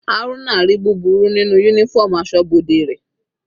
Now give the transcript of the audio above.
Haruna ri búburú nínú uniform asọ́bodè rẹ̀.